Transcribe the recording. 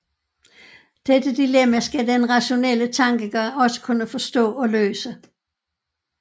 Dette dilemma skal den rationelle tankegang også kunne forstå og løse